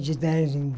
De dez em.